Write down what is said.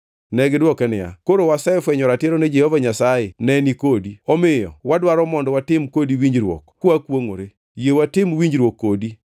Negidwoke niya, “Koro wasefwenyo ratiro ni Jehova Nyasaye neni kodi, omiyo wadwaro mondo watim kodi winjruok kwakwongʼore. Yie watim winjruok kodi